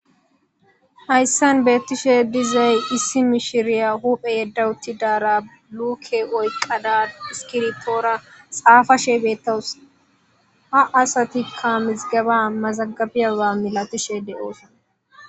Hayssan betiishshe dizay issi miishshiriya huuphphe yedda uttidara luuke oyqadda iskibirttora xafashshe bettawus ha assattikka mizigeba mazagabiyaba mallatiishshe de'oos